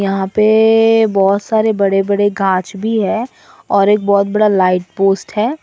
यहां पे बहुत सारे बड़े बड़े गांच भी है और एक बहुत बड़ा लाइट पोस्ट है।